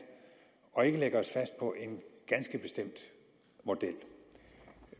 og ikke lægge os fast på en ganske bestemt model